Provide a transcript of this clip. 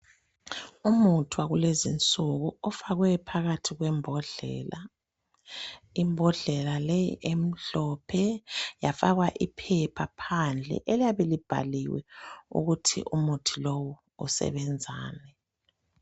Umuthi wakulezinsuku ofakwe phakathi kwembodlela , imbodlela leyi emhlophe yafakwa iphepha phandle eliyabe libhaliwe ukuthi umuthi lowu usebenzani